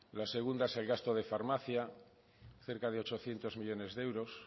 la segunda es el gasto de farmacia cerca de ochocientos millónes de euros